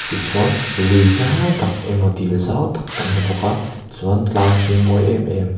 tichuan lui zau tak emaw dil zau tak kan hmu bawk a chuan tlang hring mawi em em --